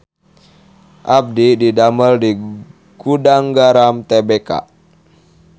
Abdi didamel di Gudang Garam Tbk